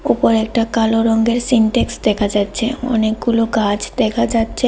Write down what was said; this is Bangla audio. ওপরে একটা কালো রঙের সিনটেক্স দেখা যাচ্ছে অনেকগুলো গাছ দেখা যাচ্ছে।